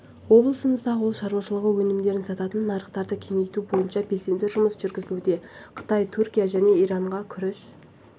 облысымызда ауыл шаруашылығы өнімдерін сататын нарықтарды кеңейту бойынша белсенді жұмыс жүргізілуде қытай түркия және иранға күріш